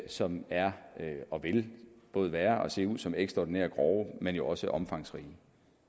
som er og vil være og se ud som ekstraordinært grove men jo også omfangsrige